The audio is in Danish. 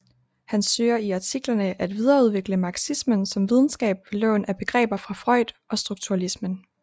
Han søger i artiklerne at videreudvikle marxismen som videnskab ved lån af begreber fra Freud og strukturalismen